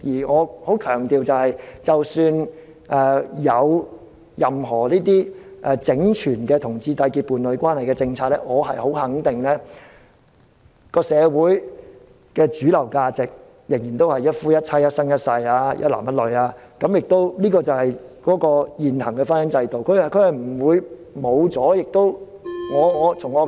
我強調即使有任何整全的讓同志締結伴侶關係的政策，我十分肯定社會上的主流價值仍然是一夫一妻、一男一女，這就是現行的婚姻制度，不會消失。